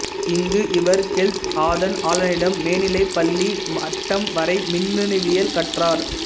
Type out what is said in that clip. இங்கு இவர் கெல்த் ஆதன் ஆலனிடம் மேனிலைப் பள்ளி மட்டம் வரை மின்னணுவியல் கற்றார்